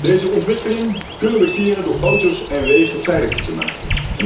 Deze ontwikkeling kunnen we keren door auto's en wegen veiliger te maken.